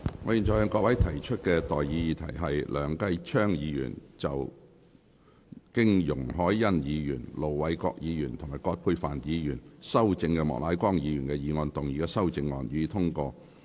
我現在向各位提出的待議議題是：梁繼昌議員就經容海恩議員、盧偉國議員及葛珮帆議員修正的莫乃光議員議案動議的修正案，予以通過。